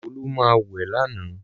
Olu má wẹ̀ lálẹ̀.